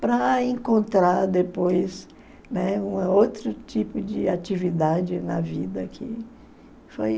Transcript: para encontrar depois, né, uma outro tipo de atividade na vida.